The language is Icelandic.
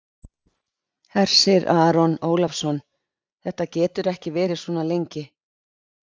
Hersir Aron Ólafsson: Þetta getur ekki verið svona lengi?